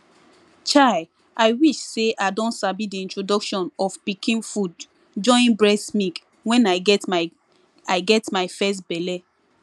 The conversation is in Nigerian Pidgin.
chai i wish say i don sabi the introduction of pikin food join breast milk when i get my i get my first belle